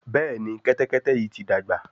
Béèni Kẹ́tẹ́kẹ́tẹ́ yí ti dàgbà.